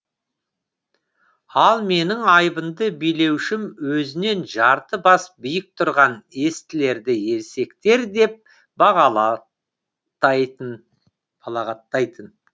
ал менің айбынды билеушім өзінен жарты бас биік тұрған естілерді есектер деп балағаттайтын